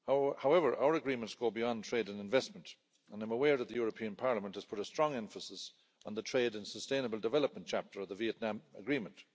However, our agreements will be on trade and investment, and I'm aware that the European Parliament has put a strong emphasis on the trade and sustainable development chapter of the Vietnam Agreement.